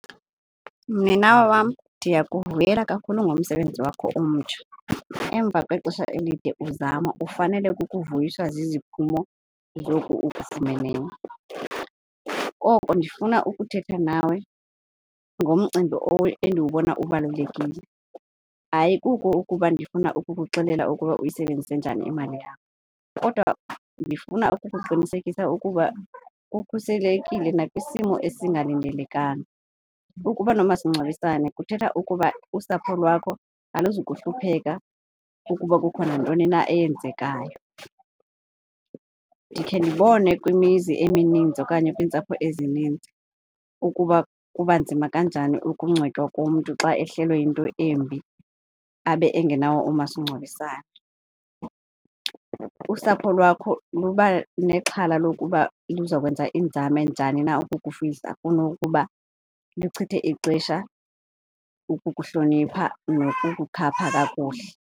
Mninawa wam, ndiyakuvuyela kakhulu ngomsebenzi wakho omtsha. Emva kwexesha elide uzama ufanele kukuvuyiswa ziziphumo zoku ukufumeneyo. Koko ndifuna ukuthetha nawe ngomcimbi endiwubona ubalulekile, ayikuko ukuba ndifuna ukukuxelela ukuba uyisebenzise njani imali yakho kodwa ndifuna ukukuqinisekisa ukuba ukhuselekile nakwisimo esingalindelekanga. Ukuba nomasingcwabisane kuthetha ukuba usapho lwakho aluzukuhlupheka ukuba kukho nantoni na eyenzekayo. Ndikhe ndibone kwimizi emininzi okanye kwiintsapho ezininzi ukuba kuba nzima kanjani ukungcwatywa komntu xa ehlelwe yinto embi abe engenawo umasingcwabisane. Usapho lwakho luba nexhala lokuba luzakwenza iinzame njani na ukukufihla kunokuba luchithe ixesha ukukuhlonipha nokukhapha kakuhle.